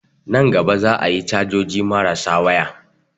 Nan gaba za a yi cajoji marasa waya